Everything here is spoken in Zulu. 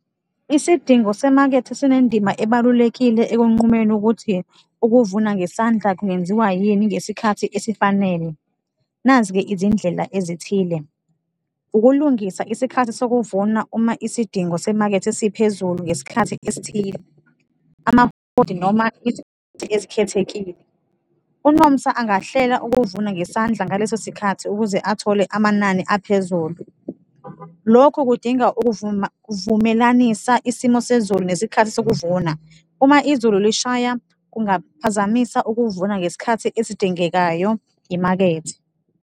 Isidingo semakethe sinendima ebalulekile ekunqumeni ukuthi ukuvuna ngesandla kungenziwa yini ngesikhathi esifanele. Nazi-ke izindlela ezithile, ukulungisa isikhathi sokuvuna uma isidingo semakethe siphezulu ngesikhathi esithile, noma ezikhethekile. UNomsa angahlela ukuvuna ngesandla ngaleso sikhathi ukuze athole amanani aphezulu. Lokhu kudinga ukuvuma, ukuvumelanisa isimo sezulu nesikhathi sokuvuna, uma izulu lishaya kungaphazamisa ukuvuna ngesikhathi esidingekayo imakethe.